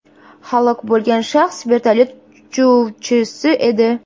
Halok bo‘lgan shaxs vertolyot uchuvchisi edi.